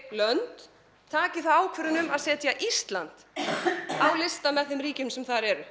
lönd taki þá ákvörðun um að setja Ísland á lista með þeim ríkjum sem þar eru